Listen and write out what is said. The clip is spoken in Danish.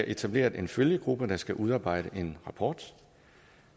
etableret en følgegruppe der skal udarbejde en rapport